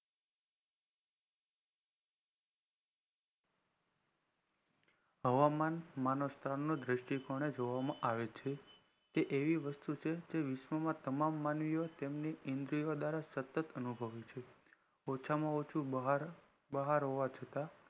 હવામાન માણાવસ્થાન નું દ્રિષ્ટિ કોને જોવામાં આવે છે કે એવી વસ્તુ છે જે વિશ્વમાં તમામ માનવીઓ તેમની ઈન્દ્રીઓ દ્વારા સતત અનુભવ્યું છે ઓછા માં ઓછું બહાર હોવા છતાં